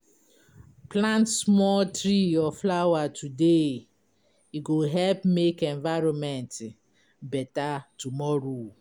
Plant small tree or flower today, e go help make environment better tomorrow.